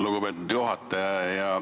Lugupeetud juhataja!